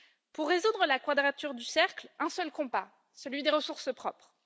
Pour résoudre la quadrature du cercle, un seul combat celui des ressources propres.